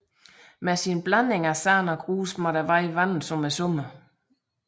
Med sin blanding af sand og grus måtte vejen vandes om somrene